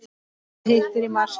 Hvað hittir í mark?